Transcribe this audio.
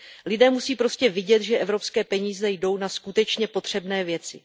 Lidé musí prostě vidět, že evropské peníze jdou na skutečně potřebné věci.